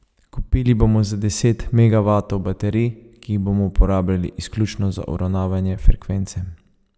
Kupili bomo za deset megavatov baterij, ki jih bomo uporabljali izključno za uravnavanje frekvence.